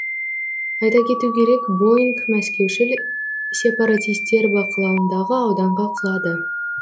айта кету керек боинг мәскеушіл сепаратистер бақылауындағы ауданға құлады